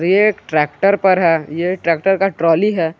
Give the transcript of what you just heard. ये एक ट्रैक्टर पर है ये ट्रैक्टर का ट्रॉली है।